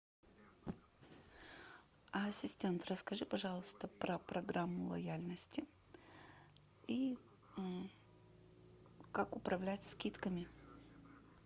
ассистент расскажи пожалуйста про программу лояльности и как управлять скидками